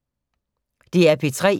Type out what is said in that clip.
DR P3